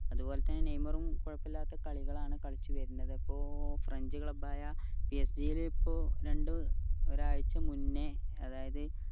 അതുപോലെതന്നെ നെയ്മറും കുഴപ്പമില്ലാത്ത കളികളാണ് കളിച്ചു വരുന്നത് ഇപ്പോ ഫ്രഞ്ച് club ആയ PSG യിൽ ഇപ്പോ രണ്ട് ഒരു ആഴ്ച മുന്നേ അതായത്